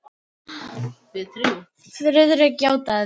Friðrik játaði því.